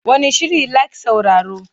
Wane shiri like sauraro?